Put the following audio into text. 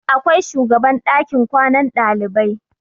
Akwai shugaban ɗakin kwanan ɗalibai.